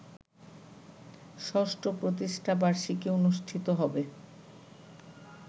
৬ষ্ঠ প্রতিষ্ঠাবার্ষিকী অনুষ্ঠিত হবে